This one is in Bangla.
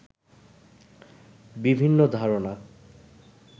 বিভিন্ন ধারণা